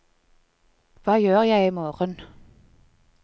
hva gjør jeg imorgen